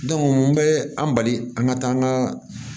n bɛ an bali an ka taa an ka